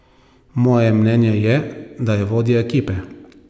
Moje mnenje je, da je vodja ekipe.